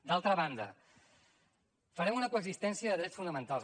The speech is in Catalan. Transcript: d’altra banda farem una coexistència de drets fonamentals